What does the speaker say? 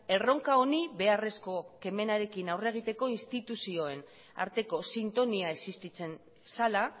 erronka honi beharrezko kemenarekin aurre egiteko instituzioen arteko sintonia existitzen zela